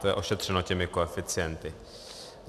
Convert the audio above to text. To je ošetřeno těmi koeficienty.